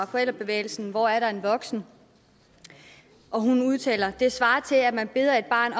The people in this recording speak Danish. forældrebevægelsen hvor er der en voksen udtaler det svarer til at man beder et barn